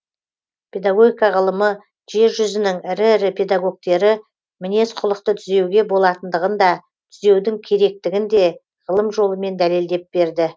педагогика ғылымы жер жүзінің ірі ірі педагогтері мінез құлықты түзеуге болатындығын да түзеудің керектігін де ғылым жолымен дәлелдеп берді